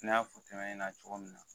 N y'a fɔ tɔ ɲɛna cogo min na